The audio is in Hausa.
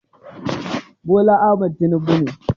Bola Ahmad Tinubu ne